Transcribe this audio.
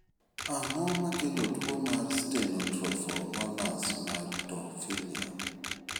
Ang'o makelo tuwo mar Stenotrophomonas maltophilia?